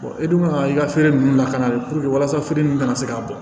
e dun kan ka i ka feere nunnu lakana de walasa feere ninnu kana se ka bɔ